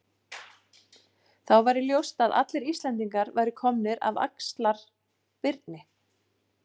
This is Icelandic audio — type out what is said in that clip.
Þá væri ljóst að allir Íslendingar væru komnir af Axlar-Birni.